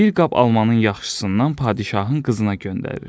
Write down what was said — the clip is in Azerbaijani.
Bir qab almanın yaxşısından padşahın qızına göndərir.